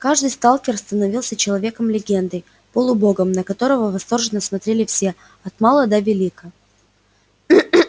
каждый сталкер становился человеком-легендой полубогом на которого восторженно смотрели все от мала до велика